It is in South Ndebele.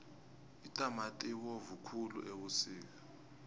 itamati ibovu khulu ebusika